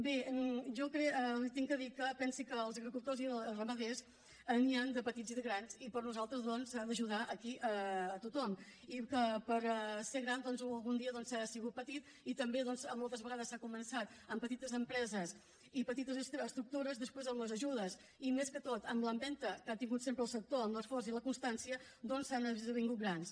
bé jo li he de dir que pensi que de agricultors i ramaders n’hi han de petits i de grans i per nosaltres doncs s’ha d’ajudar aquí a tothom i que per ser gran algun dia s’ha sigut petit i també moltes vegades s’ha començat amb petites empreses i petites estructures després amb les ajudes i més que tot amb l’empenta que ha tingut sempre el sector amb l’esforç i la constància han esdevingut grans